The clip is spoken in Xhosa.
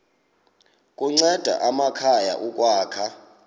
kunceda amakhaya ukwakha